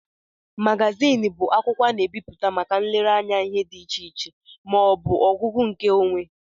Magazin bụ akwụkwọ a na-ebipụta màkà nlere anya ihe dị iche iche ma ọbu ọgụgụ nke onwé.